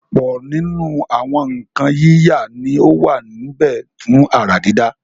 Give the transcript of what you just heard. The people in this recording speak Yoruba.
ọ̀pọ̀ nínú àwọn nǹkan yíyà ni ó wà níbẹ̀ fún àrà dídá.